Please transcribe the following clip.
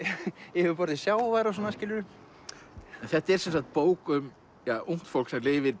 yfirborði sjávar og svona skilurðu en þetta er sem sagt bók um ungt fólk sem lifir